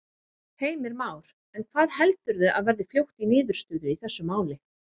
Heimir Már: En hvað heldurðu að verði fljótt í niðurstöðu í þessu máli?